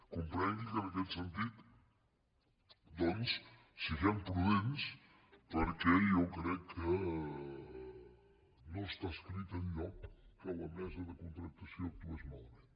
comprengui que en aquest sentit doncs siguem prudents perquè jo crec que no està escrit enlloc que la mesa de contractació actués malament